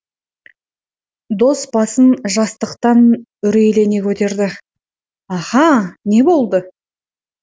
дос басын жастықтан үрейлене көтерді аха не болды